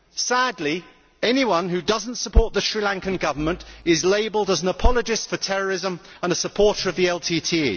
Sadly, anyone who does not support the Sri Lankan Government is labelled an apologist for terrorism and a supporter of the LTTE.